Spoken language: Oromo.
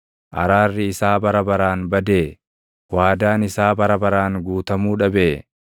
Araarri isaa bara baraan badee? Waadaan isaa bara baraan guutamuu dhabee?